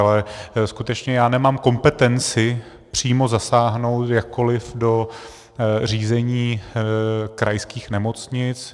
Ale skutečně já nemám kompetenci přímo zasáhnout jakkoliv do řízení krajských nemocnic.